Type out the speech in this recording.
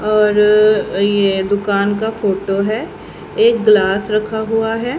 और ये दुकान का फोटो है एक ग्लास रखा हुवा है।